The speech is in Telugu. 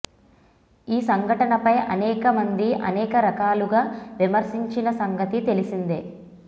ఈ ఘటనపై అనేక మంది అనేక రకాలుగా విమర్శించిన సంగతి తెలిసిందే